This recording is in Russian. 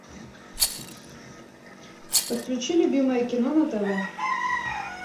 подключи любимое кино на тв